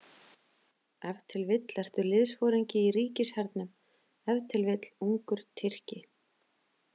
Ef til vill ertu liðsforingi í ríkishernum, ef til vill ungur Tyrki.